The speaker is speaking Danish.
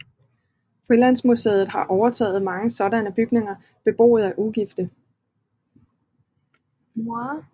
Frilandsmuseet har overtaget mange sådanne bygninger beboet af ugifte